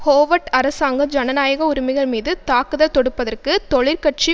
Howard அரசாங்கம் ஜனநாயக உரிமைகள் மீது தாக்குத தொடுப்பதற்கு தொழிற்கட்சி